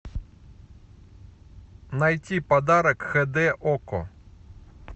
найти подарок хд окко